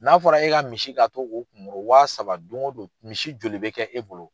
N'a fɔra e ka misi ka to k'o wa saba don o don misi joli be kɛ e bolo ?